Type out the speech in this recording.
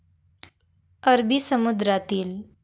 अरबी समुद्रातील.